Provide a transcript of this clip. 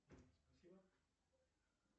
спасибо